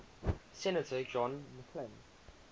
senator john mccain